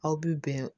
Aw bi bɛn